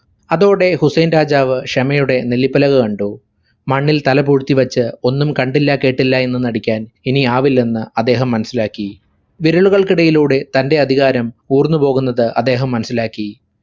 അതോടെ ഹുസൈൻ രാജാവ് ക്ഷമയുടെ നെല്ലിപ്പലക കണ്ടു. മണ്ണിൽ തലപൂഴ്ത്തിവെച്ചു ഒന്നും കണ്ടില്ലകേട്ടില്ലായെന്ന് നടിക്കാൻ ഇനിയാവില്ലെന്ന് അദ്ദേഹം മനസ്സിലാക്കി. വിരലുകൾക്കിടയിലൂടെ തന്റെ അധികാരം ഊർന്ന് പോകുന്നത് അദ്ദേഹം മനസ്സിലാക്കി.